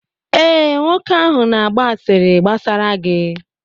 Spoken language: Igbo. ee, nwoke ahụ na-agba asịrị gbasara gị